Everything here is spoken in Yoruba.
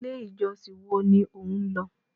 1. ilé ìjọsìn woa ni o nlọ